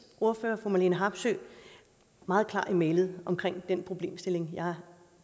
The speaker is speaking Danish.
ordfører fru marlene harpsøe meget klar i mælet omkring den problemstilling jeg